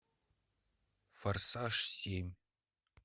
форсаж семь